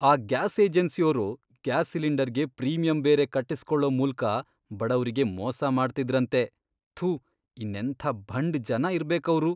ಆ ಗ್ಯಾಸ್ ಏಜೆನ್ಸಿಯೋರು ಗ್ಯಾಸ್ ಸಿಲಿಂಡರ್ಗೆ ಪ್ರೀಮಿಯಂ ಬೇರೆ ಕಟ್ಟಿಸ್ಕೊಳೋ ಮೂಲ್ಕ ಬಡವ್ರಿಗೆ ಮೋಸ ಮಾಡ್ತಿದ್ರಂತೆ! ಥು, ಇನ್ನೆಂಥ ಭಂಡ್ ಜನ ಇರ್ಬೇಕವ್ರು!